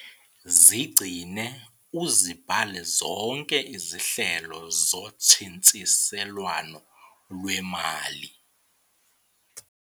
Zigcine uzibhale zonke izehlo zotshintshiselwano lwemali